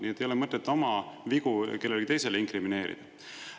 Nii et ei ole mõtet oma vigu kellelegi teisele inkrimineerida.